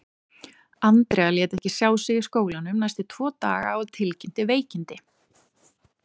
Andrea lét ekki sjá sig í skólanum næstu tvo daga og tilkynnti veikindi.